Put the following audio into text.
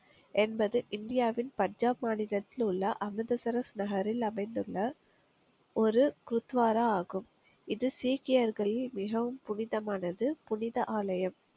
என்பது இந்தியாவின் பஞ்சாப் மாநிலத்தில் உள்ள அமிர்தசரஸ் நகரில் அமைந்துள்ள ஒரு குருத்வாரா ஆகும் இது சீக்கியர்களில் மிகவும் புனிதமானது புனித ஆலயம்